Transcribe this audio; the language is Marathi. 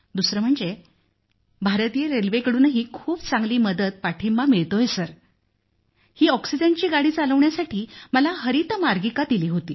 दुसरं म्हणजे भारतीय रेल्वेकडूनही खूप चांगली मदत पाठिंबा मिळतो सर ही ऑक्सिजन गाडी चालवण्यासाठी मला हरित मार्गिका दिली होती